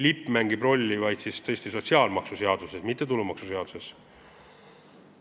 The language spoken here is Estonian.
Lipp mängib rolli vaid sotsiaalmaksuseaduses, mitte tulumaksuseaduses.